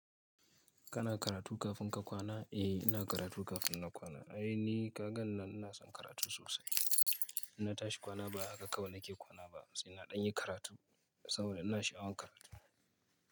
Kana karatu kafin ka kwana? Eh ina karatu kafin na kwana. Ai ni kagan nan ina son karatu sosai. In na tashi kwana ba haka kawai nake kwana ba sai na ɗan yi karatu saboda ina sha'awan karatu.